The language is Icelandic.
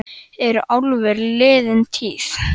Heimir: Eru álver liðin tíð?